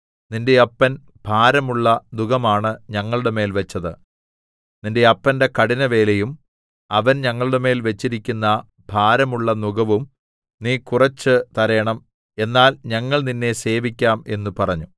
നിന്റെ അപ്പൻ ഭാരമുള്ള നുകമാണ് ഞങ്ങളുടെമേൽ വെച്ചത് നിന്റെ അപ്പന്റെ കഠിനവേലയും അവൻ ഞങ്ങളുടെമേൽ വെച്ചിരിക്കുന്ന ഭാരമുള്ള നുകവും നീ കുറെച്ചു തരേണം എന്നാൽ ഞങ്ങൾ നിന്നെ സേവിക്കാം എന്ന് പറഞ്ഞു